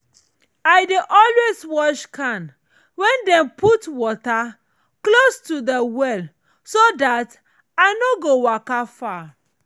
i dey always wash can wen dem dey put water close to de well so dat i nor go waka far.